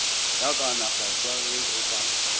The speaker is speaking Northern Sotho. ka kaonafatšwa ge go ka